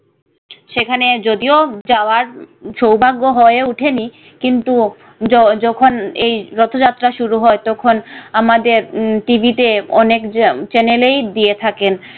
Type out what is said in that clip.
সে খানে যদি ও যাওয়ার সৌভাগ্য হয়ে ওঠেনি কিন্তু যখন এই রথ যাত্রা শুরু হয় তখন আমাদের টিভি তে অনেক channel এই দিয়ে থাকেন